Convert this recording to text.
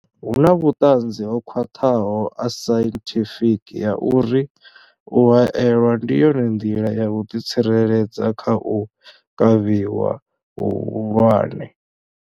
Hu na vhuṱanzi ho khwaṱhaho ha sainthifiki ha uri u haelwa ndi yone nḓila ya u ḓi tsireledza kha u kavhiwa hu hulwane.